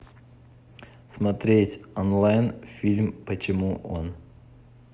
смотреть онлайн фильм почему он